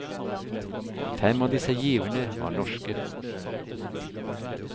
Fem av disse giverne var norske.